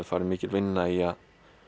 farið mikil vinna í að